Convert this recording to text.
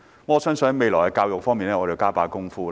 我相信我們未來要在教育方面多下工夫。